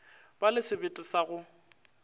ba le sebete sa go